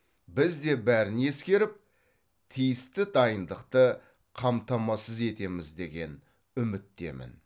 біз де бәрін ескеріп тиісті дайындықты қамтамасыз етеміз деген үміттемін